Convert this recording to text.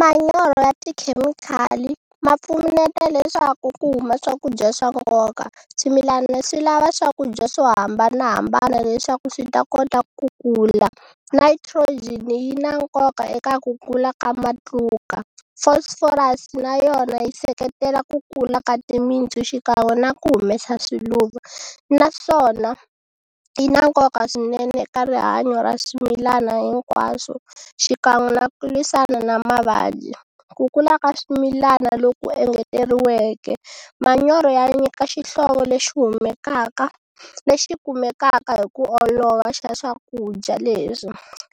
Manyoro ya tikhemikhali ma pfuneta leswaku ku huma swakudya swa nkoka, swimilana swi lava swakudya swo hambanahambana leswaku swi ta kota ku kula. Nitrogen yi na nkoka eka ku kula ka matluka, phosphorus na yona yi seketela ku kula ka timitsu xikan'we na ku humesa swiluva naswona yi na nkoka swinene eka rihanyo ra swimilana hinkwaswo xikan'we na ku lwisana na mavabyi, ku kula ka swimilana loku engeteriweke. Manyoro ya nyika xihlovo lexi hemekaka lexi kumekaka hi ku olova xa swakudya leswi,